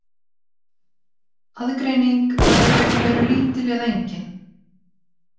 Aðgreining var í raun og veru lítil eða engin.